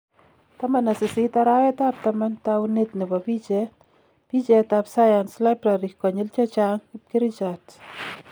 18 arawetab tamaan tawuneet nebo picheet , picheet ab sayans Library konyiil chechang bkerichaat